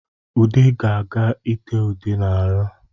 Ude ga-aga itee ude n'ahụ